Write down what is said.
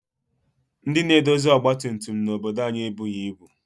Ndị na-edozi ọgbatumtum n'obodo anyị ebughị ibu